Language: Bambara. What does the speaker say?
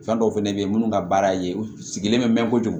Fɛn dɔw fɛnɛ bɛ yen minnu ka baara ye u sigilen bɛ mɛn kojugu